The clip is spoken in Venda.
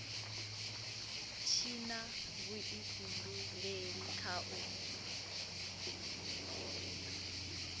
tshi na vhuifhinduleli kha u